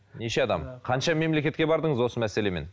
неше адам қанша мемлекетке бардыңыз осы мәселемен